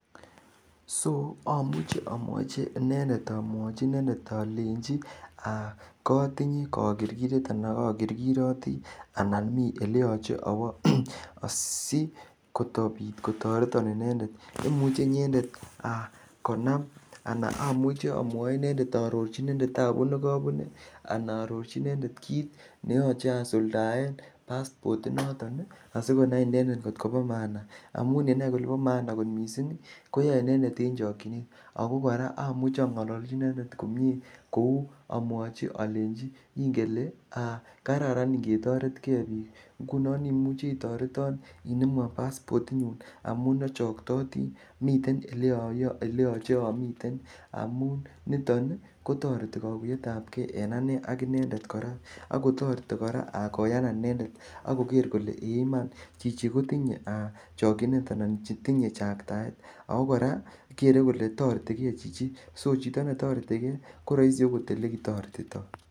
Soamuche amwochi inendet alenji aa kotinye kogirgiret ana kogirgiroti anan mi eleyoche awo asikotoretan inendet. Imuche inyendet aa konam ana amuche aarorchi inendet taabut ne kabune ana aarorchi inendet kit neyoche asuldaen paspot inoton asikonai inendet ngot kobo maana. Amun yenai kole bo maana kot mising ko yoe inendet en chokchinet. Ago kora amuche angololchi inendet komie kuo amwachi alenchi ingele kararan ingetoretke biik. Ingunon imuchi itoreton inemwon paspot inyun amun achoktoti. Miten oleyoche amiten amun niton kotoreti kaguyetab ke en ane ak inendet ak kotoreti kora koyanan inendet ak koger kole ee iman, chichi kotinye chokchinet anan tinye chaktaet. Ago kora kere kole toretikechichi. Sochito netoretige ko raisi oot olekitoretito.